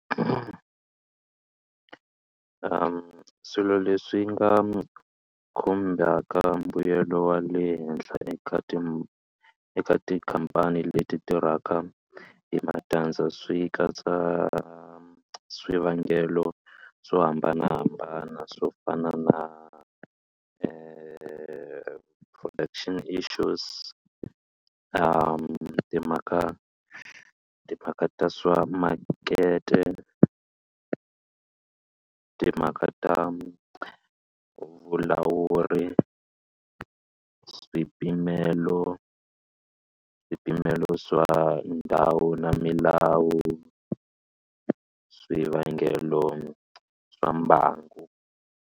Swilo leswi nga khumbaka mbuyelo wa le henhla eka eka tikhampani leti tirhaka hi matandza swi katsa swivangelo swo hambanahambana swo fana na production issues timhaka timhaka ta swa makete timhaka ta vulawuri swipimelo swipimelo swa ndhawu na milawu swivangelo swa mbangu.